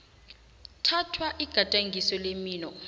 thathwa igadangiso lemino